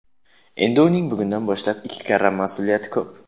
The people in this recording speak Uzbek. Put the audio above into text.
Endi uning bugundan boshlab ikki karra mas’uliyati ko‘p.